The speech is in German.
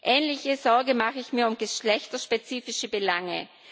Ähnliche Sorge mache ich mir um geschlechterspezifische Belange.